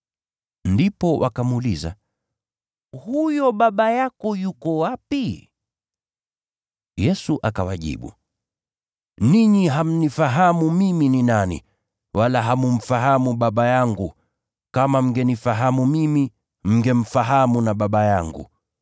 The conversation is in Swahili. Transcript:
Ndipo wakamuuliza, “Huyo Baba yako yuko wapi?” Yesu akawajibu, “Ninyi hamnifahamu mimi ni nani, wala hammfahamu Baba yangu. Kama mngenifahamu mimi, mngemfahamu na Baba yangu.”